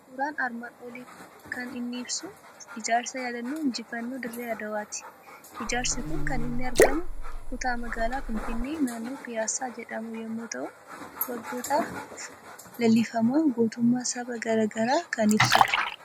Suuraan armaan olii kan inni ibsu ijaarsa Yaadannoo injifannoo Dirree Adawwaati. Ijaarsi kun kan inni argamu kutaa magaala Finfinnee, naannoo Piyaasaa jedhamu yommuu ta'u, waggootaaf leellifamaa gootummaa saba gara garaa kan ibsudha.